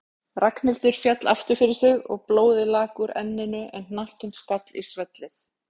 Ragnhildur féll aftur fyrir sig og blóðið lak úr enninu en hnakkinn skall í svellið.